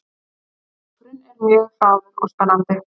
Leikurinn er mjög hraður og spennandi